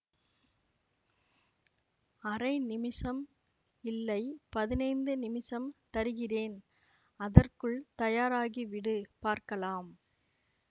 அரை நிமிஷம் இல்லை பதினைந்து நிமிஷம் தருகிறேன் அதற்குள் தயாராகி விடு பார்க்கலாம்